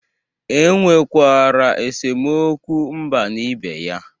Enwerekwara esemokwu mba na ibe ya